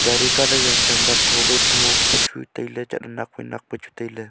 gari colour yang chang ba tho wai tho pa chu tailey chat ley nak wai nak pa chu tailey.